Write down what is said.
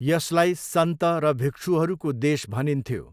यसलाई सन्त र भिक्षुहरूको देश भनिन्थ्यो।